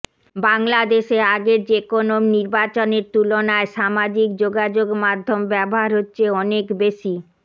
বাংলাদেশে আগের যেকোনো নির্বাচনের তুলনায় সামাজিক যোগাযোগ মাধ্যম ব্যবহার হচ্ছে অনেক বেশি